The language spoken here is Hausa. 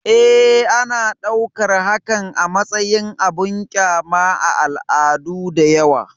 E, ana ɗaukar hakan a matsayin abin ƙyama a al'adu da yawa.